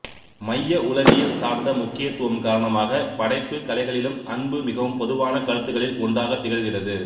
மைய உளவியல் சார்ந்த முக்கியத்துவம் காரணமாக படைப்பு கலைகளிலும் அன்பு மிகவும் பொதுவான கருத்துக்களில் ஒன்றாகத் திகழ்கிறது